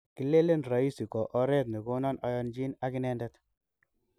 Kilelen roisi ko oret negonon ayanjin ag inendet